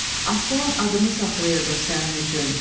Aslan adımı saxlayırdım sənin üçün.